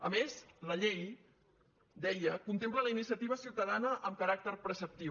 a més la llei deia contempla la iniciativa ciutadana amb caràcter preceptiu